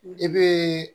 I bɛ